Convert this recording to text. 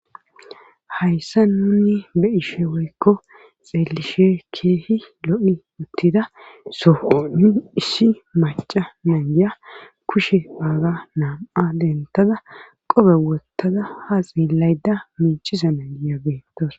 hayssa nuni be ishe woykko xeelishe keehi lo7i uttida soonu issi maca nangiya kushe aaga naam7a dentaza qobe wottaza ha xilayda minchiza nangiya beettos